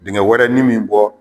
Dingɛ wɛrɛ ni min bɔ